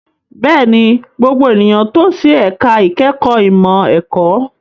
Bẹ́ẹ̀ni, gbogbo ènìyàn tò sí ẹ̀ka ìkẹ́kọ̀ọ́ ìmọ̀ ẹ̀kọ́.